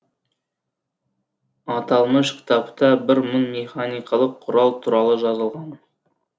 аталмыш кітапта бір мың механикалық құрал туралы жазылған